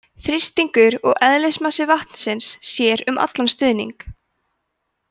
þrýstingur og eðlismassi vatnsins sér um allan stuðning